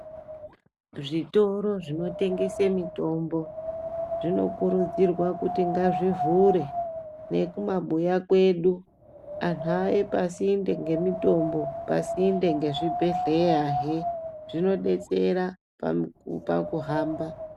Zvitoro zvinotengese mitombo zvinokurudzirwa kuti ngazvivhure nekumabuya kwedu antu auye pasinde ngemitombo pasinde ngezvibhedhlerahe zvinodetsera pakuhamba .